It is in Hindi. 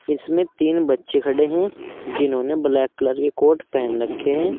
इसमें तीन बच्चे खड़े हैं जिन्होंने ब्लैक कलर की कोट पहेन रखे हैं।